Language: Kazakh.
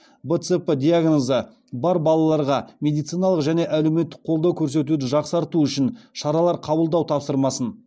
бцп диагнозы бар балаларға медициналық және әлеуметтік қолдау көрсетуді жақсарту үшін шаралар қабылдау тапсырмасын